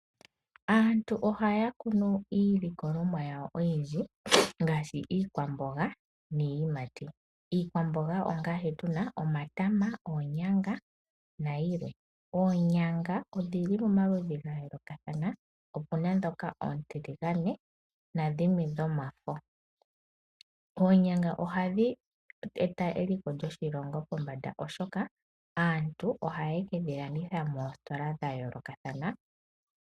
Aantu ohaya kunu iilikolomwa yawo oyiindji ngashi iikwamboga niiyimati ,iikwamboga ongaashi tuna omatama ,oonyanga nayilwe, oonyanga odhili pamaludhi gaayoloka opena dhoka ontiligane, nadhimwe dhomafo, oonyanga ohadhi eta eliko lyoshilongo pombanda shashi aantu ohaya kedhi landitha moositola dhayolokathana